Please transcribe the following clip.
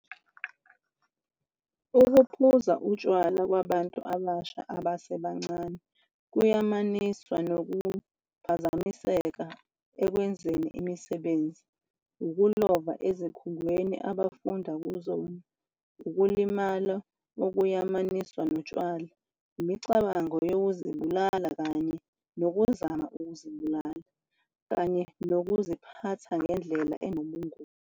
Ukuphuza utshwala kwabantu abasha abasebancane kuyamaniswa nokuphazamiseka ekwenzeni imisebenzi, ukulova ezikhungweni abafunda kuzona, ukulimala okuyamaniswa notshwala, imicabango yokuzibulala kanye nokuzama ukuzibulala, kanye nokuziphatha ngendlela enobungozi.